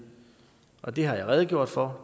og det har jeg redegjort for